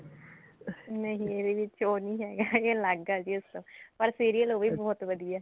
ਨਹੀਂ ਇਹਦੇ ਵਿੱਚ ਉਹ ਨਹੀਂ ਹੈਗਾ ਕਿ ਅਲੱਗ ਕਰ ਦੀਏ ਉਸਤੋਂ ਪਰ serial ਉਹ ਵੀ ਬਹੁਤ ਵਧੀਆ